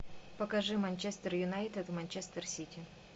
покажи манчестер юнайтед манчестер сити